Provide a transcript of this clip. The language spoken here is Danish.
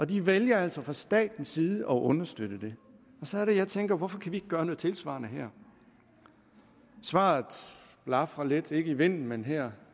de vælger altså fra statens side at understøtte det og så er det jeg tænker hvorfor kan vi ikke gøre noget tilsvarende her svaret blafrer lidt ikke i vinden men her